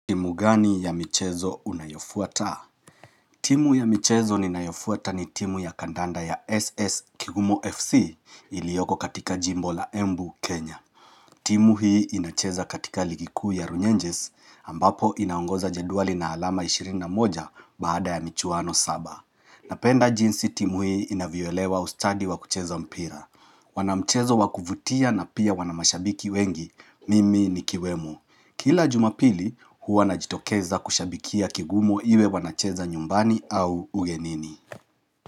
Timu gani ya michezo unayofuata? Timu ya michezo ninayofuata ni timu ya kandanda ya SS Kigumo FC, ilioko katika Jimbo la Embu, Kenya. Timu hii inacheza katika ligi kuu ya Runyenges ambapo inaongoza jedwali na alama ishirini na moja baada ya michuano saba. Napenda jinsi timu hii inavyoelewa ustadi wa kucheza mpira. Wana mchezo wakuvutia na pia wana mashabiki wengi, mimi nikiwemo. Kila jumapili huwa najitokeza kushabikia kigumo iwe wanacheza nyumbani au ugenini.